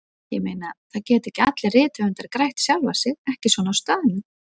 Ég meina, það geta ekki allir rithöfundar grætt sjálfa sig, ekki svona á staðnum.